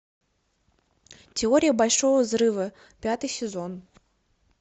теория большого взрыва пятый сезон